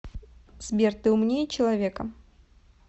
сбер ты умнее человека